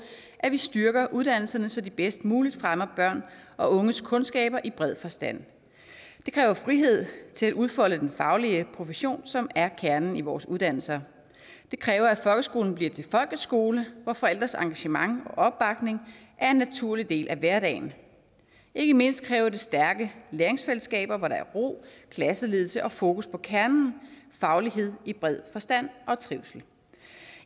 at vi styrker uddannelserne så de bedst muligt fremmer børn og unges kundskaber i bred forstand det kræver frihed til at udfolde den faglige profession som er kernen i vores uddannelser det kræver at folkeskolen bliver til folkets skole hvor forældres engagement og opbakning er en naturlig del af hverdagen ikke mindst kræver det stærke læringsfællesskaber hvor der er ro klasseledelse og fokus på kernen faglighed i bred forstand og trivsel